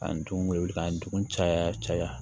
Ka n dun wele k'an denw caya caya